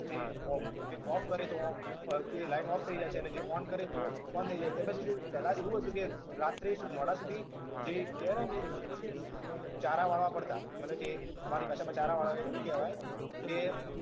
કે જે ઓ જે off કરે તો ઓ આખી line off થઇ જાય છે જે on કરે તો on થઇ જાય છે તેમજ જે પહેલા એવું હતું કે રાત્રે મોડા સુધી જે કહેવાય ને ચારા વાળવા પડતા માનો કે અમારી ભાષામાં ચારા વાળવા એવું કહેવાય